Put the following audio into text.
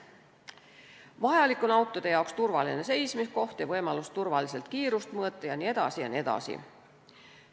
Vajalik on autode turvaline seismiskoht, võimalus turvaliselt kiirust mõõta jne, jne.